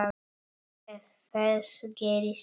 Ef þess gerist þörf